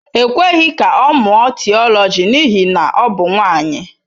E kweghị ka ọ mụọ Theology n'ihi na ọ bụ nwanyị.